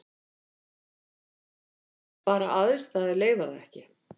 Bara aðstæður leyfa það ekki.